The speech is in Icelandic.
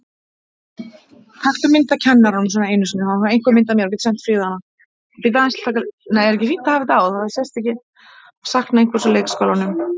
Að sakna einhvers úr leikskólanum